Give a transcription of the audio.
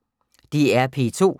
DR P2